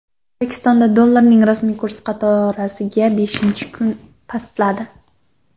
O‘zbekistonda dollarning rasmiy kursi qatorasiga beshinchi kun pastladi.